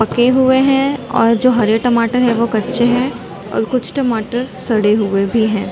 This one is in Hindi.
पक्के हुए है और जो हरे टमाटर है वो कच्चे है और कुछ टमाटर सड़े हुए भी है।